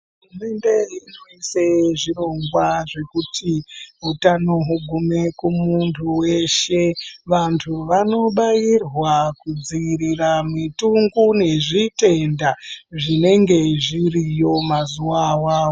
Hurumende inofana isa zvirongwa zvekuti utano hungume kumuntu weshe vantu vanobairwa kudzivirira mitongo nezvitenda zvinenge zviriyo maziwa awawa.